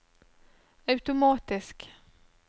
automatisk